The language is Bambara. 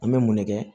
An bɛ mun ne kɛ